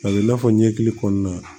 A bɛ i n'a fɔ ɲɛkili kɔnɔna na